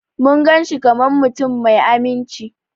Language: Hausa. Mun gan shi kaman mutum mai amince.